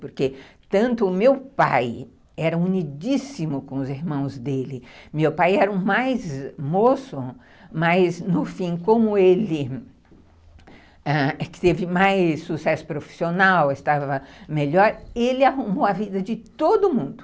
Porque tanto o meu pai era unidíssimo com os irmãos dele, meu pai era o mais moço, mas no fim, como ele ãh teve mais sucesso profissional, estava melhor, ele arrumou a vida de todo mundo.